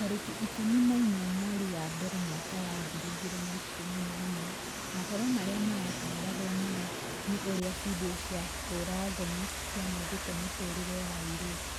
tarĩki ikũmi na inya mweri wa mbere mwaka wa ngiri igĩrĩ na ikũmi na ĩmwe mohoro marĩa maratangatwo mũno ni ũrĩa findio cia ũũra-thoni cianangĩte mĩtũrĩre ya airĩtu